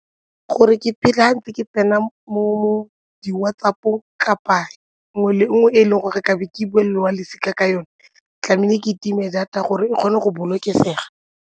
Gore ke phela ke tsena mo di-WhatsApp-ong kapa nngwe le nngwe e e leng gore ke be ke bolelele wa losika ka yone tlamehile ke time data gore e kgone go bolokesega.